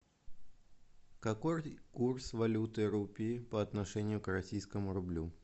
какой курс валюты рупий по отношению к российскому рублю